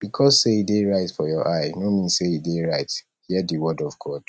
because sey e dey right for your eye no mean sey e dey right hear di word of god